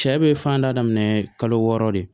Cɛ bɛ fan da daminɛ kalo wɔɔrɔ de